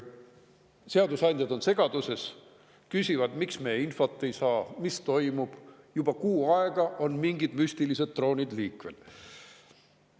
Seadusandjad on segaduses, küsivad, miks me infot ei saa, mis toimub, juba kuu aega on mingid müstilised droonid liikvel.